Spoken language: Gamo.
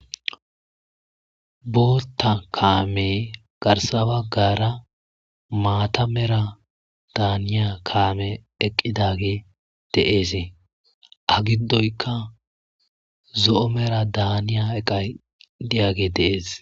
bootta kaame garsaba gaara maata mera daaniya kaame eqqidage deeesee ha giddoyka zo7o mera daaniya eqay diage deees